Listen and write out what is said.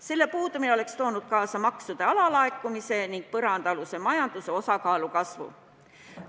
Selle puudumine oleks toonud kaasa maksude alalaekumise ning põrandaaluse majanduse osakaalu kasvu.